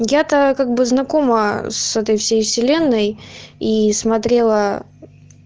я-то как бы знакома с этой всей вселенной и смотрела